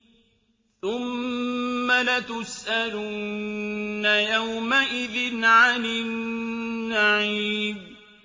ثُمَّ لَتُسْأَلُنَّ يَوْمَئِذٍ عَنِ النَّعِيمِ